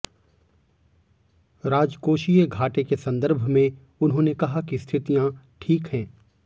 राजकोषीय घाटे के संदर्भ में उन्होंने कहा कि स्थितियां ठीक हैं